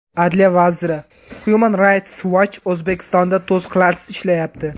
Adliya vaziri: Human Rights Watch O‘zbekistonda to‘siqlarsiz ishlayapti.